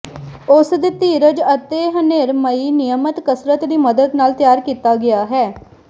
ਉਸ ਦੇ ਧੀਰਜ ਅਤੇ ਹਨੇਰਮਈ ਨਿਯਮਤ ਕਸਰਤ ਦੀ ਮਦਦ ਨਾਲ ਤਿਆਰ ਕੀਤਾ ਗਿਆ ਹੈ